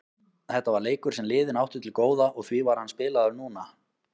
Þetta var leikur sem liðin áttu til góða og því var hann spilaður núna.